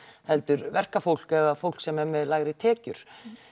heldur verkafólk eða fólk sem er með lægri tekjur